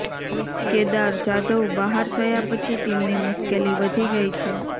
કેદાર જાધવ બહાર થયા પછી ટીમની મુશ્કેલી વધી ગયી છે